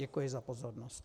Děkuji za pozornost.